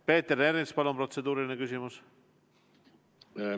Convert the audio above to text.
Peeter Ernits, palun, protseduuriline küsimus!